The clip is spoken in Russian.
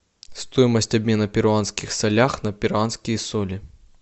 стоимость обмена перуанских солях на перуанские соли